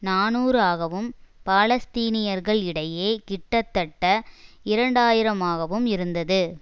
நாநூறு ஆகவும் பாலஸ்தீனியர்கள் இடையே கிட்டத்தட்ட இரண்டு ஆயிரம்ஆகவும் இருந்தது